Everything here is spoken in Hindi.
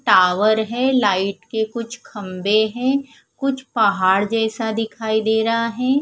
टावर है लाईट के कुछ खम्बे है कुछ पहाड़ जैसा दिखाई दे रहा है।